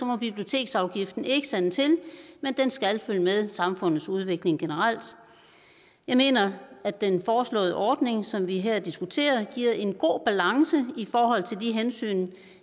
må biblioteksafgiften ikke sande til men den skal følge med samfundets udvikling generelt jeg mener at den foreslåede ordning som vi her diskuterer giver en god balance i forhold til de hensyn